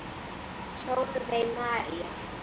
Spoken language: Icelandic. Sólveig María.